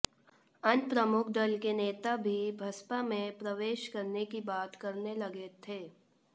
अन्य प्रमुख दल के नेता भी बसपा में प्रवेश करने की बात करने लगे थे